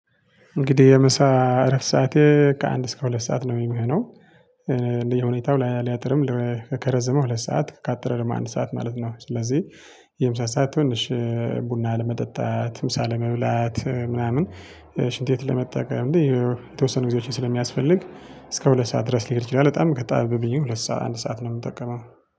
እንግዲህ የምሳ አረፍት ሰዓቴ ከአንድ እስከ ሁለት ሰዓት ነው የሚሆነው እንደየሁኔታው ላይ ሊያጥርም ከከረዘመ ሁለት ሰዓት ካጠረም አንድ ሰዓት ማለት ነው። ስለዚህ የምሳ ሰዓት ትንሽ ቡና ለመጠጣት ምሳ ለመብላት ምናምን ሽንት ቤት ለመጠቀም እንዴ የተወሰኑ ጊዜዎችን ስለሚያስፈልግ እስከ ሁለት ሰዓት ድረስ ሊሄድ ይችላል። በጣም ከጣም ብዬ ሁለት ሰዓት አንድ ሰዓት ነው የምጠቀመው።